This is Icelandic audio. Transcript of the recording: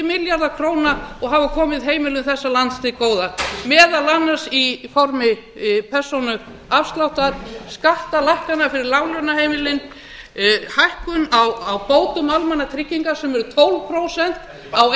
milljarða króna og hafa komið heimilum þessa lands til góða meðal annars í formi persónuafsláttar skattalækkana fyrir láglaunaheimilin hækkun á bótum almannatrygginga sem eru tólf prósent á